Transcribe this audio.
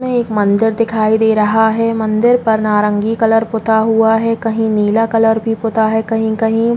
इसमें एक मंदिर दिखाई दे रहा है। मंदिर पर नारंगी कलर पुता हुआ है। कहीं नीला कलर भी पुता है कहीं-कहीं --